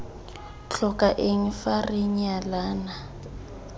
tlhoka eng fa re nyalana